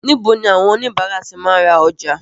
Níbo ni àwọn oníbàárà ti máa ń ra ọjà?